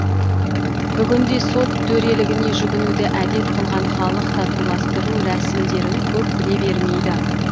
бүгінде сот төрелігіне жүгінуді әдет қылған халық татуластыру рәсімдерін көп біле бермейді